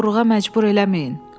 Məni oğurluğa məcbur eləməyin.